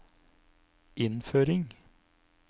innføring